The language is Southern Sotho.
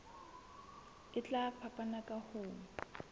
e tla fapana ka ho